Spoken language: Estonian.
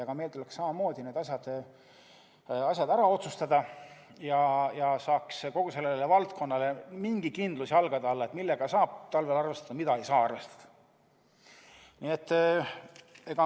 Ka meil tuleks samamoodi need asjad ära otsustada, et saaks kogu selles valdkonnas mingi kindluse, millega saab talvel arvestada ja millega ei saa arvestada.